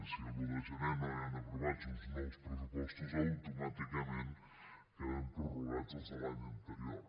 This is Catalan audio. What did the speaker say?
si l’un de gener no hi han aprovats uns nous pressupostos automàticament queden prorrogats els de l’any anterior